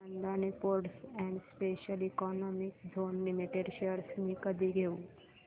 Adani ports and special economic zone limited shares मी कधी घेऊ